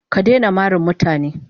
Ka daina mari mutane.